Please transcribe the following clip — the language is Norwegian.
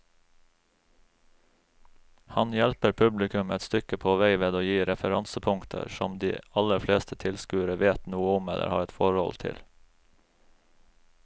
Han hjelper publikum et stykke på vei ved å gi referansepunkter som de aller fleste tilskuere vet noe om eller har et forhold til.